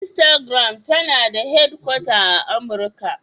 Instagram tana da hedkwata a Amurka.